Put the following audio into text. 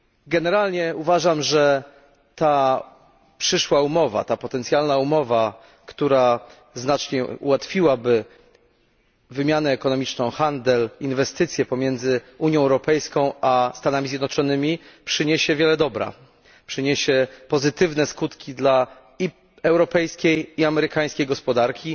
Generalnie uważam, że ta przyszła umowa, ta potencjalna umowa, która znacznie ułatwiłaby wymianę ekonomiczną, handel i inwestycje pomiędzy Unią Europejską a Stanami Zjednoczonymi, przyniesie wiele dobrego i będzie miała pozytywne skutki zarówno dla europejskiej i amerykańskiej gospodarki,